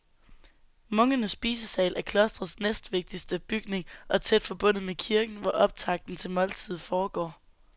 Munkenes spisesal er klostrets næstvigtigste bygning og tæt forbundet med kirken, hvor optakten til måltidet foregår.